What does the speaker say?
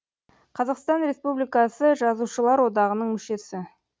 қазақстан республикасы жазушылар одағының мүшесі